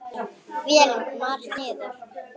Vélin kom hart niður.